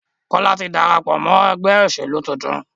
Kola tí darapọ̀ mọ ègbé òṣèlú títún